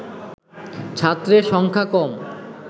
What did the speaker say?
ছাত্রের সংখ্যা কম